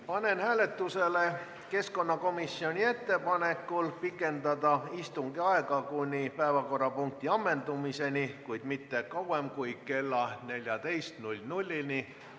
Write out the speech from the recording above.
Panen hääletusele keskkonnakomisjoni ettepaneku pikendada istungi aega kuni päevakorrapunkti ammendumiseni, kuid mitte kauem kui kella 14-ni.